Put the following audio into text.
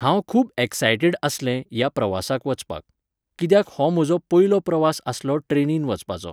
हांव खूब एक्सायटीड आसलें ह्या प्रवासाक वचपाक. कित्याक हो म्हजो पयलो प्रवास आसलो ट्रॅनीन वचपाचो.